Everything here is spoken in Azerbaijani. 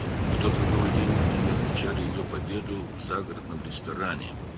O taleyüklü gündə onlar onun qələbəsini şəhərkənarı restoranda qeyd edirdilər.